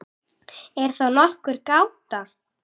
Er þá nokkur gáta?